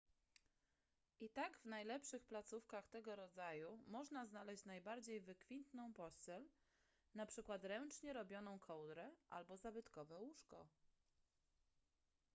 i tak w najlepszych placówkach tego rodzaju można znaleźć najbardziej wykwintną pościel na przykład ręcznie robioną kołdrę albo zabytkowe łóżko